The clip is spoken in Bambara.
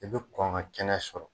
I bɛ kɔn ka kɛnɛ sɔrɔ.